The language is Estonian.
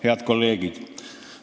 Head kolleegid!